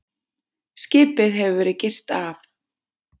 Skipið hefur verið girt af